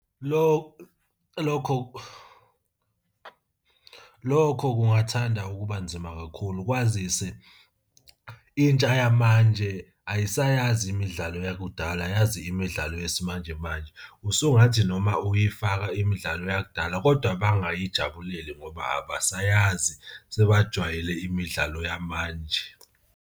Lokho kungathanda ukuba nzima kakhulu kwazise intsha yamanje ayisayazi imidlalo yakudala yazi imidlalo yesimanjemanje. Usungathi noma uyifaka imidlalo yakudala kodwa bangayijabuleli ngoba abasayazi sebajwayele imidlalo yamanje.